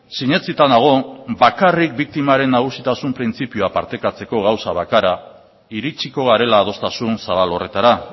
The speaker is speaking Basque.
sinetsita nago bakarrik biktimaren nagusitasun printzipioa partekatzeko gauza bakarra iritsiko garela adostasun zabal horretara